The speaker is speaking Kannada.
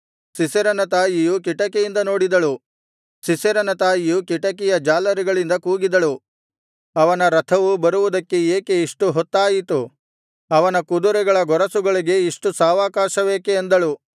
ಸೀಸೆರನ ತಾಯಿಯು ಕಿಟಿಕಿಯಿಂದ ನೋಡಿದಳು ಸೀಸೆರನ ತಾಯಿಯು ಕಿಟಿಕಿಯ ಜಾಲರಿಗಳಿಂದ ಕೂಗಿದಳು ಅವನ ರಥವು ಬರುವುದಕ್ಕೆ ಏಕೆ ಇಷ್ಟುಹೊತ್ತಾಯಿತು ಅವನ ಕುದುರೆಗಳ ಗೊರಸುಗಳಿಗೆ ಇಷ್ಟು ಸಾವಕಾಶವೇಕೆ ಅಂದಳು